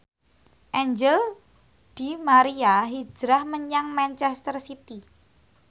Angel di Maria hijrah menyang manchester city